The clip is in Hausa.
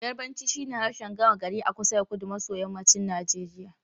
Yarbanci shine harshen gama gari a kusa da kudu maso yammacin Najeriya.